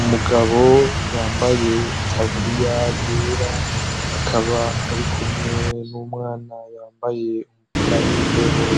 Umugabo yambaye itaburuya yera akaba ari kumwe n'umwana yambaye umupira w'imbeho